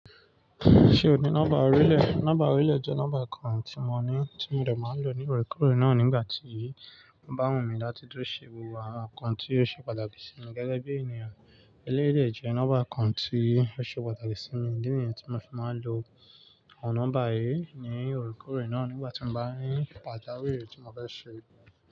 Ṣé o ní nọ́mbà orílẹ̀? Nọ́mbà orílẹ̀ jẹ́ nọ́mbà kan tí mo ní, tí mo dẹ̀ máa lò ní òrùkọ rẹ̀ náà nígbà tí ó bá wù mí láti dúró ṣe wíwà account tí yóò ṣe pàtàkì sí mi gẹ́gẹ́ bí ènìyàn. Eléyii dé jẹ́ nọ́mbà kan tí ó ṣe pàtàkì sí mi. Idí nìyen tí mo fi máa n lò awọ̀n nọ́mbà yìí ni oorekọorẹ̀ náà nígbà tí mo bá ní pàjàwirì tí mo fẹ́ ṣe.